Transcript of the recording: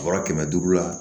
Bɔrɔ kɛmɛ duuru la